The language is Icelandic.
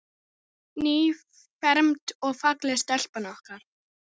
Nýfermd og falleg stelpan okkar.